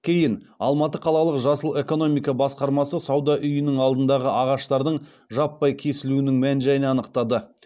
кейін алматы қалалық жасыл экономика басқармасы сауда үйінің алдындағы ағаштардың жаппай кесілуінің мән жайын анықтады